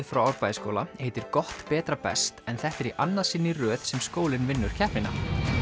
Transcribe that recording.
frá Árbæjarskóla heitir gott betra best en þetta er í annað sinn í röð sem skólinn vinnur keppnina